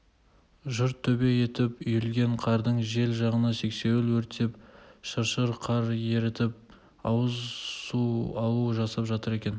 жұрт төбе етіп үйілген қардың жел жағына сексеуіл өртеп шыршыр қар ерітіп ауыз су алу жасап жатыр екен